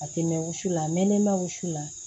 A tɛ mɛn wusu la mɛ ne ma wusu la